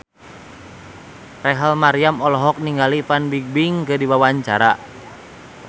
Rachel Maryam olohok ningali Fan Bingbing keur diwawancara